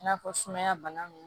I n'a fɔ sumaya bana ninnu